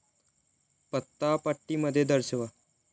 पत्ता पट्टीमध्ये दर्शवा